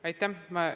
Aitäh!